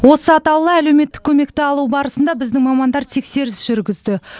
осы атаулы әлеуметтік көмекті алу барысында біздің мамандар тексеріс жүргізді